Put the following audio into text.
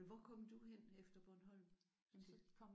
Men hvor kom du hen efter Bornholm?